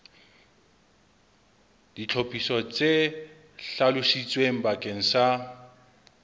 ditlhophiso tse hlalositsweng bakeng sa